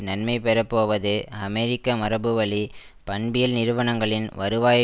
நன்மைபெறப்போவது அமெரிக்க மரபுவழி பண்பியல் நிறுவனங்களின் வருவாய்